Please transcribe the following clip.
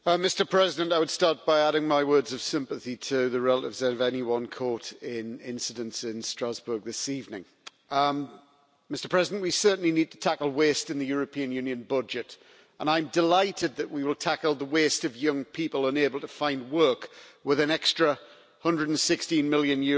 Mr President, I would start by adding my words of sympathy to the relatives of anyone caught in incidents in Strasbourg this evening. We certainly need to tackle waste in the European Union budget, and I am delighted that we will tackle the waste of young people unable to find work with an extra EUR 116 million